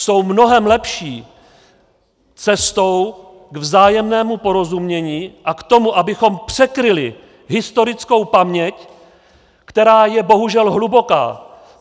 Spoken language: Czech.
Jsou mnohem lepší cestou k vzájemnému porozumění a k tomu, abychom překryli historickou paměť, která je bohužel hluboká.